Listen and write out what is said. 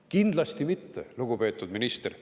Kindlasti mitte, lugupeetud minister.